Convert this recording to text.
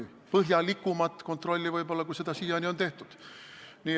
Võib-olla põhjalikumat kontrolli, kui siiani on tehtud.